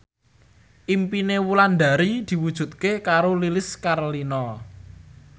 impine Wulandari diwujudke karo Lilis Karlina